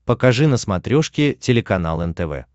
покажи на смотрешке телеканал нтв